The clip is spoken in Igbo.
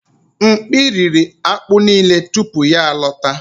Mkpi riri akpu nile tupu ya alọta.